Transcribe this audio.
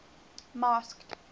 masked